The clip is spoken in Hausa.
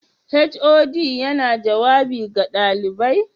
HOD yana jawabi ga ɗalibai?